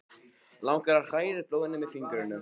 Langar að hræra í blóðinu með fingrunum.